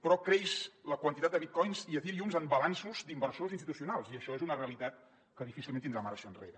però creix la quantitat de bitcoins i ethereums en balanços d’inversors institucionals i això és una realitat que difícilment tindrà marxa enrere